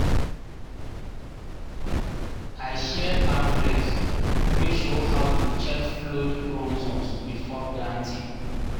i share pamphlets wey show how to check flood-prone zones before planting